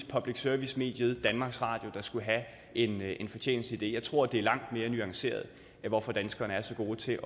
public service mediet danmarks radio der skulle have en en fortjeneste af det jeg tror det er langt mere nuanceret hvorfor danskerne er så gode til